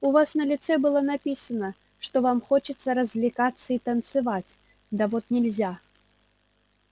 у вас на лице было написано что вам хочется развлекаться и танцевать да вот нельзя